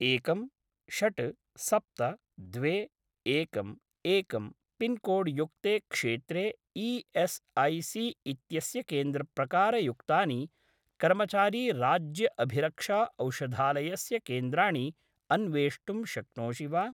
एकं षट् सप्त द्वे एकं एकं पिन्कोड् युक्ते क्षेत्रे ई.एस्.ऐ.सी.इत्यस्य केन्द्रप्रकारयुक्तानि कर्मचारी राज्य अभिरक्षा औषधालयस्य केन्द्राणि अन्वेष्टुं शक्नोषि वा?